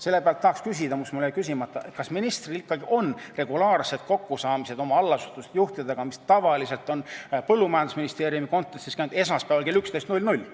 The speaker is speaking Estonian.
Selle pealt tahaks küsida seda, mis mul jäi küsimata, et kas ministril ikkagi on regulaarsed kokkusaamised oma allasutuste juhtidega, mis tavaliselt toimuvad Maaeluministeeriumi kontekstis esmaspäeval kell 11.00.